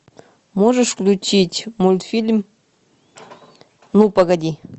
можешь включить мультфильм ну погоди